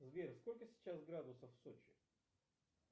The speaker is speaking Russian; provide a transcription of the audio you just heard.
сбер сколько сейчас градусов в сочи